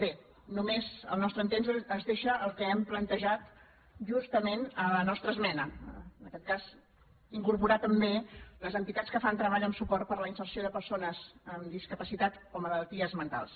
bé només al nostre entendre es deixa el que hem plantejat justament a la nostra esmena en aquest cas incorporar també les entitats que fan treball en suport per a la inserció de persones amb discapacitat o malalties mentals